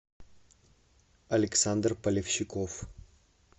александр полевщиков